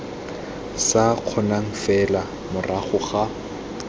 sa kgonang fela morago ga